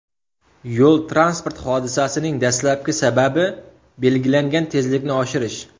Yo‘l-transport hodisasining dastlabki sababi belgilangan tezlikni oshirish.